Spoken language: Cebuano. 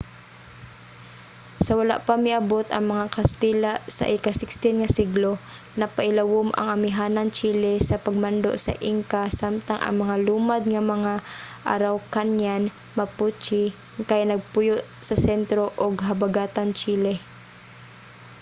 sa wala pa miabot ang mga katsila sa ika-16 nga siglo napailawon ang amihanang chile sa pagmando sa inca samtang ang mga lumad nga mga araucanian mapuche kay nagpuyo sa sentro ug habagatang chile